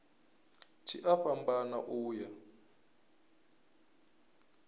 tshi a fhambana u ya